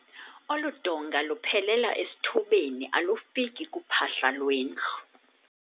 Olu donga luphelela esithubeni alufiki kuphahla lwendlu.